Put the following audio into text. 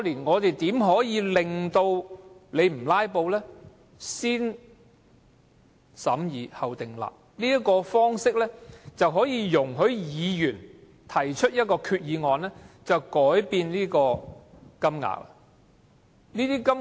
我提出的"先審議後訂立"方式，可容許議員提出一項決議案修改金額。